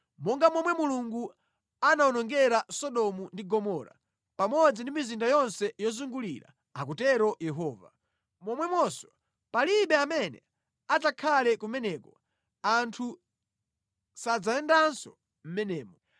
Monga momwe Mulungu anawonongera Sodomu ndi Gomora pamodzi ndi mizinda yonse yozungulira,” akutero Yehova, “momwemonso palibe amene adzakhale kumeneko; anthu sadzayendanso mʼmenemo.